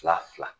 Fila fila